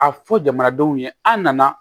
A fɔ jamanadenw ye an nana